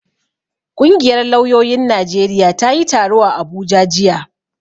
Ƙungiyar lauyoyin Najeriya ta yi taro a Abuja jiya.